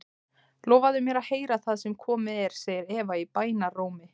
Lofaðu mér að heyra það sem komið er, segir Eva í bænarrómi.